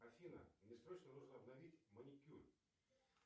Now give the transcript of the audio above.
афина мне срочно нужно обновить маникюр